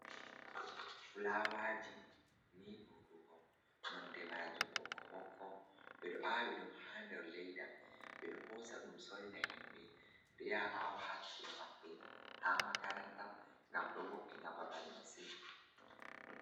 Flawaaji ni ɗuɗugo, nonde maajum ɓokko ɓokko, ɓe ɗo aawi ɗum haa nder leyda, ɓe ɗo hoosa ɗum soorina himɓe, ɗo yaha aawa haa saare maɓɓe, haa makaranta, ngam ɗo wo’ina babal masin.